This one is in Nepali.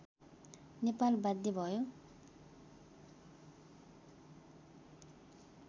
नेपाल बाध्य भयो